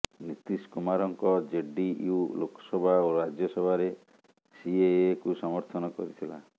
ନୀତୀଶ କୁମାରଙ୍କ ଜେଡିୟୁ ଲୋକସଭା ଓ ରାଜ୍ୟସଭାରେ ସିଏଏକୁ ସମର୍ଥନ କରିଥିଲା